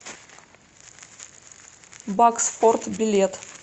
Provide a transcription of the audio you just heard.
баксфорд билет